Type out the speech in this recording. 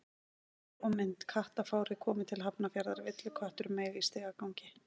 Heimildir og mynd: Kattafárið komið til Hafnarfjarðar: Villiköttur meig í stigagangi.